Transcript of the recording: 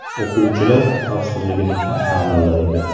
O‘quvchilar xavfsizligini kim ta’minlaydi?